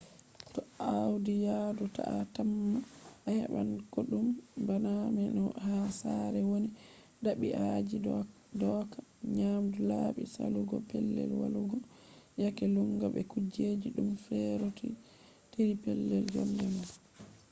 to awadi yadu ta a tamma a heban kodume bana no ha sare” woni.dabi'aji dooka nyamdu labbi salugo pellel walugo yaake lunnga be kujejji duddum feerotiri pellel jonde ma